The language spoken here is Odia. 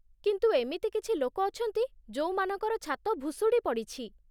କିନ୍ତୁ ଏମିତି କିଛି ଲୋକ ଅଛନ୍ତି ଯୋଉମାନଙ୍କର ଛାତ ଭୁଶୁଡ଼ି ପଡ଼ିଛି ।